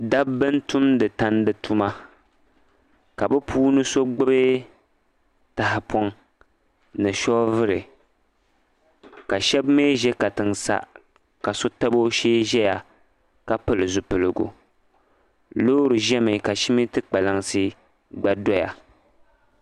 Daba n-tumdi tandi tuma ka bi puuni so gbibi tahipɔŋ ni shɔvili. Ka shɛba mi ʒe katiŋ sa ka so tabi o shee ʒeya ka pili zupilgu. Loori ʒe mi ka siminti kpalaŋsi gba doya.